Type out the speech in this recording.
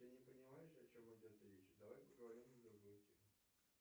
ты не понимаешь о чем идет речь давай поговорим на другую тему